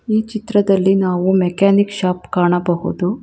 ಈ ಚಿತ್ರದಲ್ಲಿ ನಾವು ಮೆಕಾನಿಕ್ ಶಾಪ್ ಕಾಣಬಹುದು.